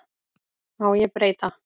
Má ég breyta?